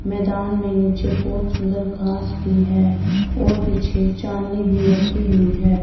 मैदान में नीचे बहोत सुंदर घास भी है और पीछे चांदनी भी रखी हुई है।